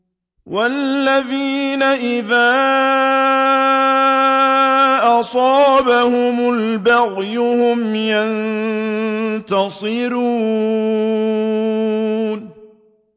وَالَّذِينَ إِذَا أَصَابَهُمُ الْبَغْيُ هُمْ يَنتَصِرُونَ